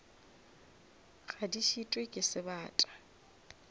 ga di šitwe ke sebata